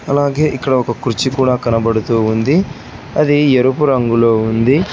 అలాగే ఇక్కడ ఒక కుర్చీ కూడా కనబడుతూ ఉంది అది ఎరుపు రంగులో ఉంది.